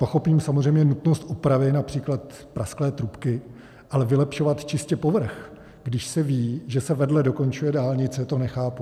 Pochopím samozřejmě nutnost opravy například prasklé trubky, ale vylepšovat čistě povrch, když se ví, že se vedle dokončuje dálnice, to nechápu.